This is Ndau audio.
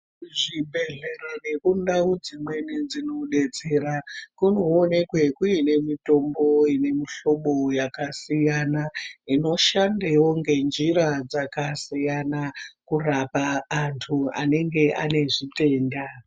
Kuzvibhedhlera nekundao dzimweni dzinobetsera kunoonekwe kuine mitombo ine mihlobo yakasiyana inoshandewo ngenzira dzakasiyana kurapa antu anenge ane zvitenda.